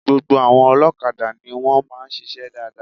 Gbogbo àwọn olókadà ni wón máa ń sisé dáadáa